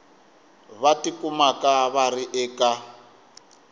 va tikumaka va ri eka